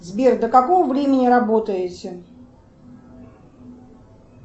сбер до какого времени работаете